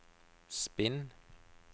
spinn